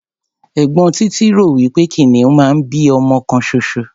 Ẹ̀gbọ́n Títí rò wí pé kìnìún máa ń bí ọmọ kan ṣoṣo.